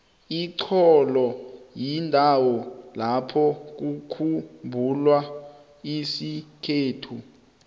ixholo yindawo lapho kukhumbula isikhethu